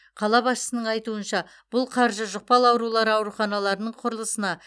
қала басшысының айтуынша бұл қаржы жұқпалы аурулар ауруханаларының құрылысына